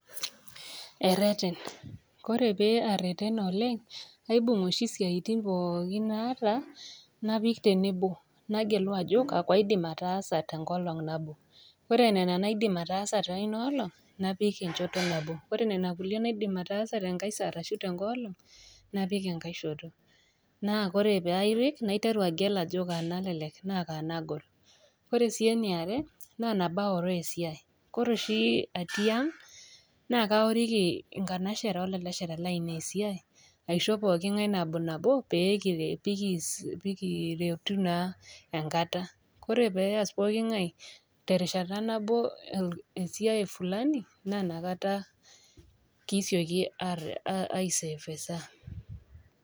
Ereten, ore pee aretena oleng, aibung oshi isiaitin pookin naata napik tenebo, nagelu ajo kakwa aidim ataasa tenkolong nabo, ore nena naidim atasa teina olong, napik enchoto nabo, ore nena kulie naidim ataasa tenkai saa ashu tenkai olong, napik enkaishoto. Naa ore pairip, naiteru agel ajo kaa nalelek ashu kaa nagol, ore sii eniare, naa tenaoroo esiai. Kore oshi atii ang', naa kaoriki inkanashera o lalashera lainei esiai aisho pookin ng'ai nabonabo peekiretu naa enkata. Kore pee eas pooki ng'ai terishata nabo esiai fulani, na nakata kisioki aisave esaa.